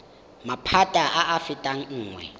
maphata a a fetang nngwe